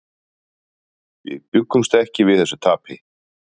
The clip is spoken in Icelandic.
Við bjuggumst ekki við þessu tapi.